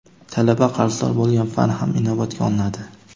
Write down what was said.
talaba qarzdor bo‘lgan fan ham inobatga olinadi.